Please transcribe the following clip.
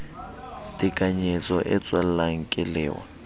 tekanyetso e tswellang ke lewa